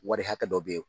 Wari hakɛ dɔ bɛ ye